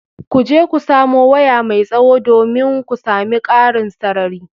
Ku je ku samo waya mai tsawo, domin ku sami ƙarin sarari.